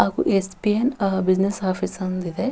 ಹಾಗು SBN business office ಅಂದಿದೆ.